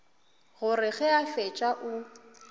gore ge a fetša o